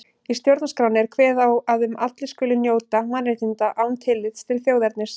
Í stjórnarskránni er kveðið á um að allir skuli njóta mannréttinda án tillits til þjóðernis.